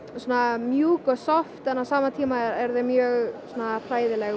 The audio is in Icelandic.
mjúk og soft en á sama tíma eru þau mjög hræðileg og